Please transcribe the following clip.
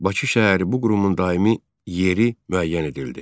Bakı şəhəri bu qurumun daimi yeri müəyyən edildi.